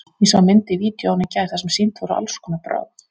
Ég sá mynd í vídeóinu í gær þar sem sýnd voru alls konar brögð.